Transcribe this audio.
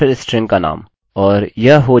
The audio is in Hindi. और यह हो जाना चाहिए